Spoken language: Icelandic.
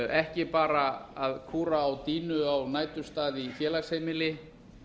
ekki bara að kúra á sínu á næturstað í félagsheimili